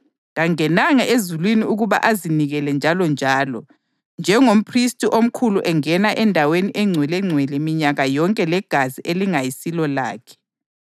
Kangenanga ezulwini ukuba azinikele njalonjalo, njengomphristi omkhulu engena eNdaweni eNgcwelengcwele minyaka yonke legazi elingayisilo lakhe.